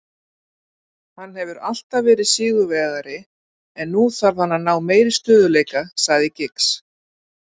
Hann hefur alltaf verið sigurvegari en nú þarf hann að ná meiri stöðugleika, sagði Giggs.